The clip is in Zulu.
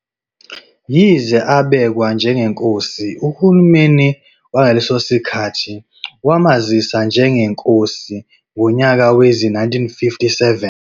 Yize abekwa njenge Nkosi, uhulumeleni wangaleso sikhathi wamazisa njengeNkosi ngonyaka wezi-1957.